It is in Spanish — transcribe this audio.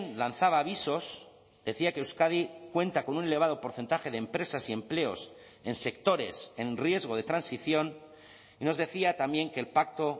lanzaba avisos decía que euskadi cuenta con un elevado porcentaje de empresas y empleos en sectores en riesgo de transición y nos decía también que el pacto